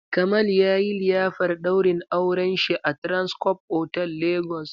Kamal yayi liyafar ɗaurin auren shi a Transcorp otal Lagos.